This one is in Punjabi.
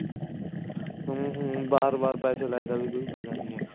ਹਮ ਹਮ ਬਾਰ ਬਾਰ ਪੈਸੇ ਲਾਏ ਦਾ ਵੀ ਕੋਈ ਫਾਇਦਾ ਨੀ ਹੈਗਾ